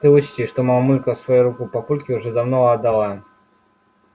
ты учти что мамулька свою руку папульке уже давно отдала